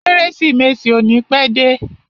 Kérésìmesì ò ní pẹ́ dé.